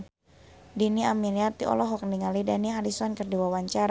Dhini Aminarti olohok ningali Dani Harrison keur diwawancara